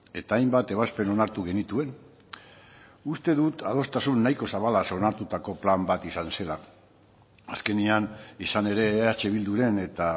eta hainbat ebazpen onartu genituen uste dut adostasun nahiko zabalaz onartutako plan bat izan zela azkenean izan ere eh bilduren eta